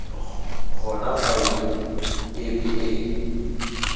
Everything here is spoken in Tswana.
gona faele epe e e